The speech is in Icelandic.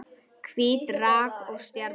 Hvít rák og stjarna